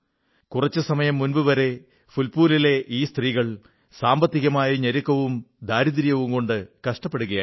കുറച്ചു സമയം മുമ്പുവരെ ഫുൽപൂരിലെ ഈ സ്ത്രീകൾ സാമ്പത്തികമായ ഞെരുക്കവും ദാരിദ്ര്യവും കൊണ്ട് കഷ്ടപ്പെടുകയായിരുന്നു